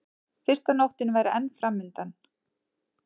Fyrsta nóttin væri enn framundan.